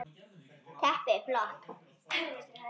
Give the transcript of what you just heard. Teppið flott.